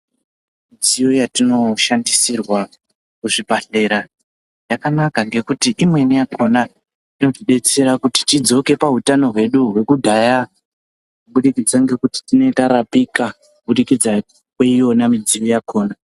Midziyo yatinoshandisirwa muzvibhedhlera yakanaka ngekuti imweni yakhona inotidetsera kuti tidzoke pahutano hwedu hwekudhaya kuburikidza ngekuti tinenge tarapika puburikidza kweiyona midziyo yakhona.